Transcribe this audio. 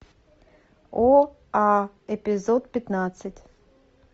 оа эпизод пятнадцать